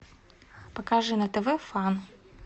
покажи на тв фан